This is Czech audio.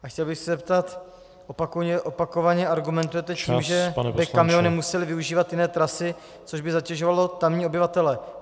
A chtěl bych se zeptat: Opakovaně argumentujete tím, že by kamiony musely využívat jiné trasy, což by zatěžovalo tamní obyvatele.